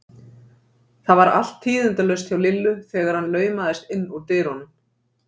Það var allt tíðindalaust hjá Lillu þegar hann laumaðist inn úr dyrunum.